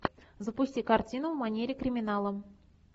запусти картину в манере криминала